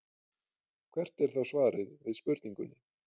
Hvert er þá svarið við spurningunni?